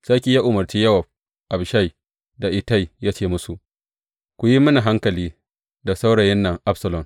Sarki ya umarci Yowab, Abishai, da Ittai, ya ce musu, Ku yi mini hankali da saurayin nan Absalom.